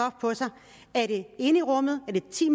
der er det inde i rummet er det ti